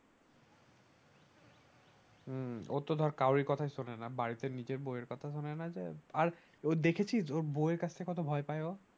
হম ও তো ধর কারো কথা শোনেনা বাড়িতে নিজের বউয়ের কথা শোনো যা আর ও দেখেছিস ওর বউয়ের কাছে কতো ভয় পায় ও